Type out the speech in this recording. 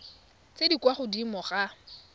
tse di kwa godimo ga